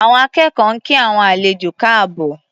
Àwọn akẹ́kọ̀ọ́ ń kí àwọn àlejò káàbọ̀.